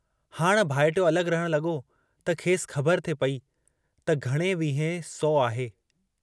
हाण भाइटियो अलग रहण लगो त खेसि खबर थे पई त घणे वींहें सौ आहे?